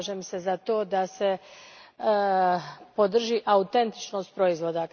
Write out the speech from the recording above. Zalažem se za to da se podrži autentičnost proizvoda.